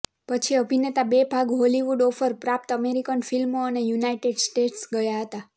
પછી અભિનેતા બે ભાગ હોલિવુડ ઓફર પ્રાપ્ત અમેરિકન ફિલ્મો અને યુનાઇટેડ સ્ટેટ્સ ગયા હતા